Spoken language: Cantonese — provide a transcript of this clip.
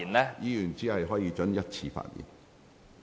委員只可發言一次。